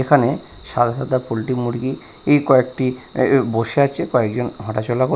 এখানে সাদা সাদা পোল্টি মুরগি ই কয়েকটি এ এ বসে আছে কয়েকজন হাঁটাচলা কর--